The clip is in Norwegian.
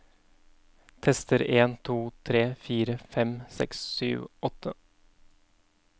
Tester en to tre fire fem seks sju åtte